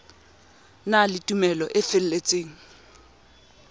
na le tumelo e feletseng